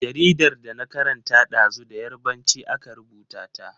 Jaridar da na karanta ɗazu da Yarbanci aka rubuta ta.